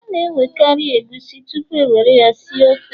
a ga-egweri egusi tupu e were ya si ofe